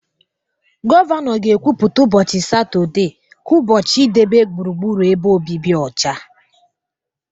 Gọvanọ ga-ekwupụta ụbọchị Satọde ka ụbọchị idebe gburugburu ebe obibi ọcha.